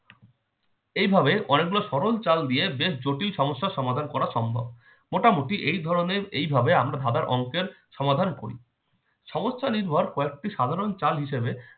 এইভাবে অনেকগুলো সরল চাল দিয়ে অনেক জটিল সমস্যা সমাধান করা সম্ভব মোটামুটি এই ধরনের এই এভাবে আমরা ধাঁধার অংকের সমাধান করি সমস্যা নির্ভর কয়েকটি চাল হিসাবে